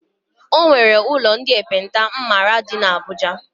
O nwere ụlọ ndị ekpenta m maara dị n' Abuja.